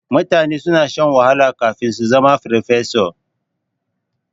Mutane suna shan wahala kafin su zama farfesa.